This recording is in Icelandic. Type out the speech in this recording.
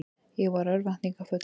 Ég var örvæntingarfullur.